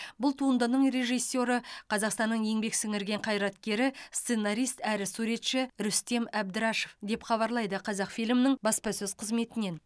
бұл туындың режиссері қазақстанның еңбек сіңірген қайраткері сценарист әрі суретші рүстем әбдірашев деп хабарлайды қазақфильмнің баспасөз қызметінен